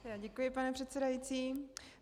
Děkuji, pane předsedající.